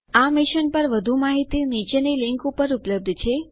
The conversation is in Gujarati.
આ મિશન પર વધુ માહિતી નીચેની લીંક ઉપર ઉપલબ્ધ છે